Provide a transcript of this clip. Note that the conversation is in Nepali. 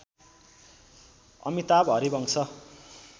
अमिताभ हरिवंश